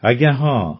ଆଜ୍ଞା ହଁ